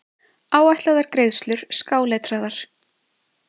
Áætlaðar greiðslur skáletraðar.